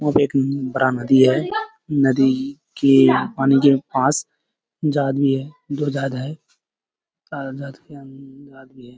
यहाँ पे एक उम्म बड़ा नदी है। नदी के पानी के पास जा रही है जो जाता है --